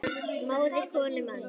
móðir konu manns